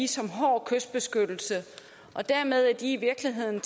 som hård kystbeskyttelse dermed er de i virkeligheden